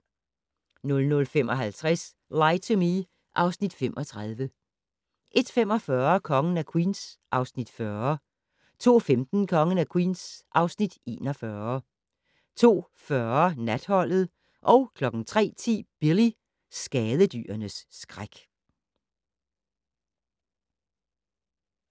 00:55: Lie to Me (Afs. 35) 01:45: Kongen af Queens (Afs. 40) 02:15: Kongen af Queens (Afs. 41) 02:40: Natholdet 03:10: Billy - skadedyrenes skræk